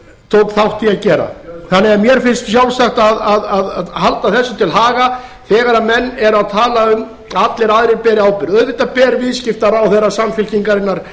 tók þátt í að gera þannig að mér finnst sjálfsagt að halda þessu til haga þegar menn eru að tala um að allir aðrir beri ábyrgð auðvitað ber viðskiptaráðherra samfylkingarinnar